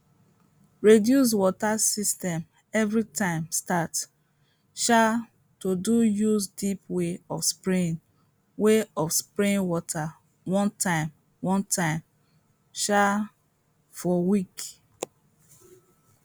reduce water system every time start um to de use deep way of spraying way of spraying water one time one time um for week